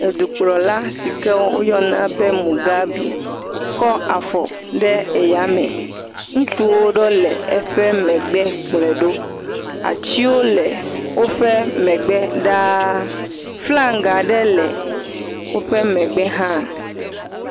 Dukplɔla si ke woyɔna be Mugabe kɔ afɔ ɖe yame. Ŋutsu aɖewo le eƒe megbe kplɔe ɖo. Atiwo le woƒe megbe ɖaa. Flaga aɖe le woƒe megbe hã.